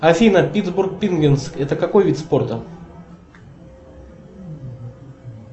афина питтсбург пингвинз это какой вид спорта